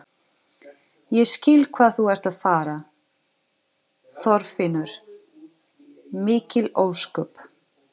Ég skil hvað þú ert að fara, Þorfinnur, mikil ósköp.